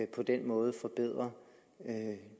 på den måde forbedre